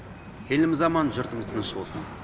еліміз аман жұртымыз тыныш болсын